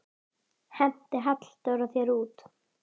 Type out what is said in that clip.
Henti Halldór þér út?